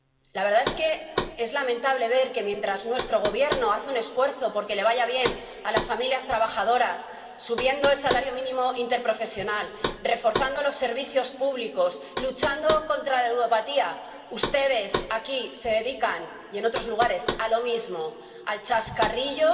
La verdad es que es lamentable ver que, mientras nuestro gobierno hace un esfuerzo porque les vaya bien a las familias trabajadoras —subiendo el salario mínimo interprofesional, reforzando los servicios públicos, luchando contra la ludopatía—, ustedes se dedican, aquí y en otros lugares, a lo mismo, al chascarrillo,